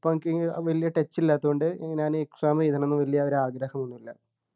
പ്പോ എനിക്ക് വലിയ touch ഇല്ലാത്തതുകൊണ്ട് ഞാൻ exam എഴുതണംന്നു വല്യ ഒരു ആഗ്രഹൊന്നും ഇല്ല